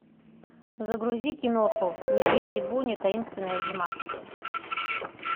загрузи киноху медведи буни таинственная зима